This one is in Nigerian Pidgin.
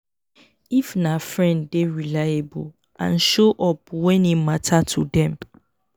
if na friend dey reliable and show up when e matter to them